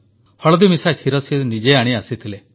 ହଳଦୀମିଶା କ୍ଷୀର ସେ ନିଜେ ଆଣି ଆସିଥିଲେ